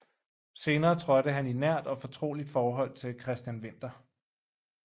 Senere trådte han i nært og fortroligt forhold til Christian Winther